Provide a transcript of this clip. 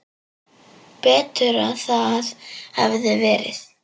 Betur að það hefði verið.